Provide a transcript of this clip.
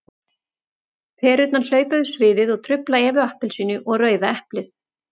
Perurnar hlaupa yfir sviðið og trufla Evu appelsínu og Rauða eplið.